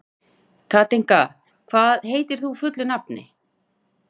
Katinka, hvað heitir þú fullu nafni?